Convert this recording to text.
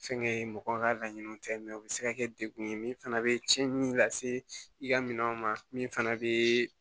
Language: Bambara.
Fɛnkɛ mɔgɔw ka laɲiniw tɛ mɛ u bɛ se ka kɛ dekun ye min fana bɛ cɛnni min lase i ka minɛnw ma min fana bɛ